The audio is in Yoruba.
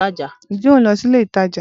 Ǹjẹ́ ohun lọ sílé ìtajà?